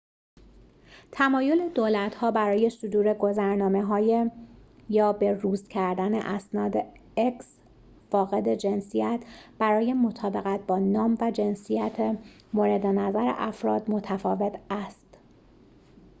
تمایل دولت‌ها برای صدور گذرنامه‌های فاقد جنسیت x یا به‌روز کردن اسناد برای مطابقت با نام و جنسیت مورد نظر افراد، متفاوت است